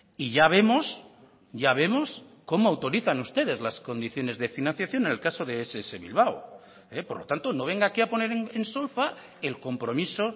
y ya vemos ya vemos cómo autorizan ustedes las condiciones de financiación en el caso de ess bilbao por lo tanto no venga aquí a poner en solfa el compromiso